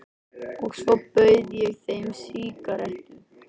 Og svo bauð ég þeim sígarettu.